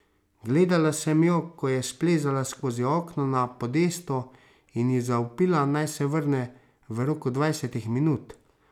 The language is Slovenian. Gledala sem jo, ko je splezala skozi okno na podestu, in ji zavpila, naj se vrne v roku dvajsetih minut.